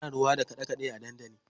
Ana rawa da kaɗe kaɗe a dandali.